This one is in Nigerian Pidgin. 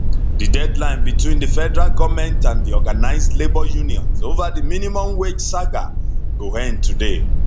di deadline between di federal goment and di organised labour unions ova di minimum wage saga go end today